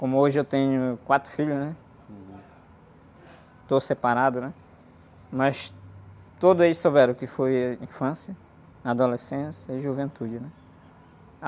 Como hoje eu tenho quatro filhos, né? Estou separado, né? Mas todos eles souberam o que foi infância, adolescência e juventude.